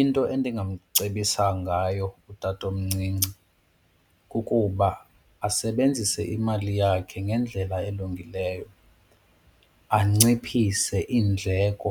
Into endingamcebisa ngayo utatomncinci kukuba asebenzise imali yakhe ngendlela elungileyo, anciphise iindleko.